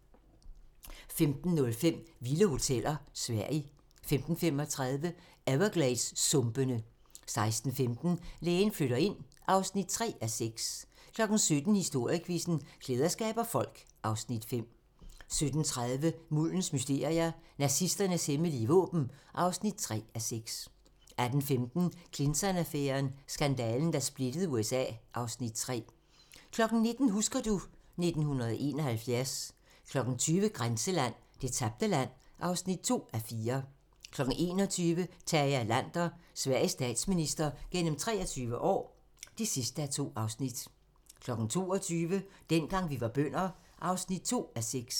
15:05: Vilde hoteller: Sverige 15:35: Evergladessumpene 16:15: Lægen flytter ind (3:6) 17:00: Historiequizzen: Klæder skaber folk (Afs. 5) 17:30: Muldens mysterier - Nazisternes hemmelige våben (3:6) 18:15: Clinton-affæren: Skandalen, der splittede USA (Afs. 3) 19:00: Husker du ... 1971 20:00: Grænseland - Det tabte land (2:4) 21:00: Tage Erlander - Sveriges statsminister gennem 23 år (2:2) 22:00: Dengang vi var bønder (2:6)